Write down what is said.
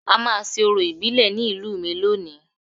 A máa ṣe orò ìbílẹ̀ ní ìlú mi lónìí